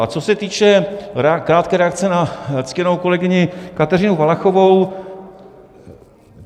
A co se týče krátké reakce na ctěnou kolegyni Kateřinu Valachovou.